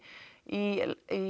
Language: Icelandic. í